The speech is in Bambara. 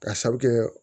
Ka sabu kɛ